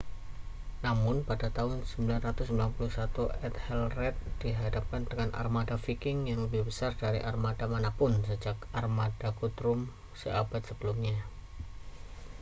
namun pada tahun 991 ethelred dihadapkan dengan armada viking yang lebih besar dari armada mana pun sejak armada guthrum seabad sebelumnya